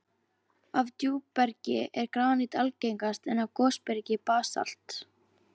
Af djúpbergi er granít algengast, en af gosbergi basalt.